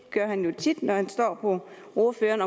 han jo tit når han slår på ordføreren